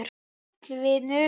Sæll vinur